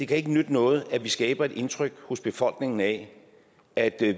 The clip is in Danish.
kan nytte noget at vi skaber et indtryk hos befolkningen af at